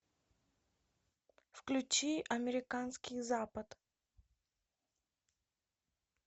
включи американский запад